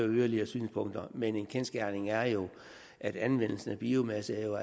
yderligere synspunkter men en kendsgerning er jo at anvendelsen af biomasse